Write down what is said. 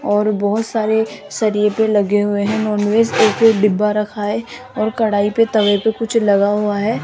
और बहोत सारे शरीफे लगे हुए हैं नॉनवेज एक ही डिब्बा रखा है और कढ़ाई पे तवे पे कुछ लगा हुआ है।